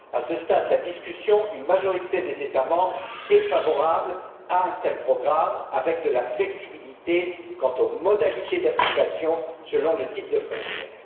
À ce stade de la discussion, une majorité des États membres est favorable à un tel programme assorti d'une flexibilité quant aux modalités d'application selon le type de frontière.